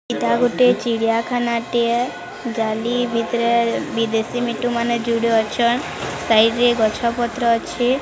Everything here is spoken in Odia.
ଏଇଟା ଗୋଟେ ଚିଡିଆ ଖାନା ଟେ ଯାଲି ଭିତରେ --